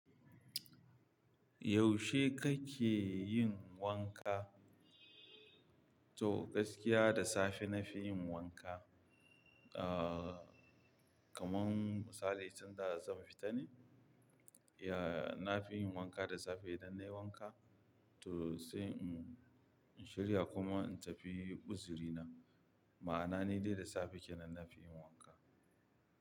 Yaushe kake yin wanka? To gaskiya da safe na fi yin wanka. Ah, kamar misali tun da zan fita ne, ya-- na fi yin wanka da safe idan nayi wanka to sai in, in shirya kuma in tafi uziri nan. Ma'ana ni dai da safe kenan na fi yin wanka.